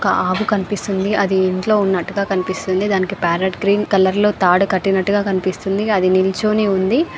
ఒక ఆవు కనిపిస్తుంది. అది ఇంట్లో ఉన్నట్టుగా కనిపిస్తుంది. దానికి పార్రోట్ గ్రీన్ కలర్ లో తాడు కట్టినట్టుగా కనిపిస్తుంది అది నిల్చుని ఉంది.